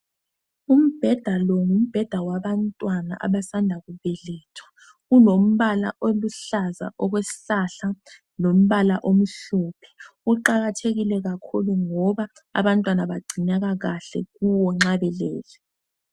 Umbheda lo ngumbheda wabantwana abasanda kubelethwa, ulombala oluhlaza okwesihlahla lombala omhlophe, uqakathekile kakhulu ngoba abantwana bagcineka kahle kuwo nxa belele.